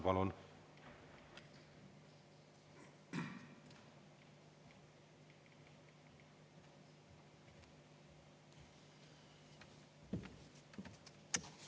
Palun!